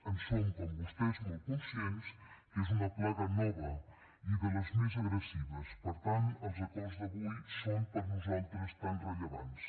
en som com vostès molt conscients que és una plaga nova i de les més agressives i per tant els acords d’avui són per nosaltres tan rellevants